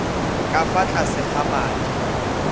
ka fa tlase ga madi